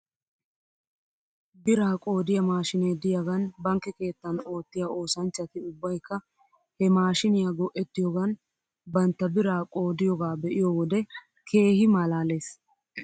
Biraa qoodiyaa maashiinee de'iyaagan bankke keettan oottiyaa oosanchchati ubbaykka he maashiiniyaa go'ettiyoogan bantta biraa qoodiyoogaa be'iyoo wode keehi malaales .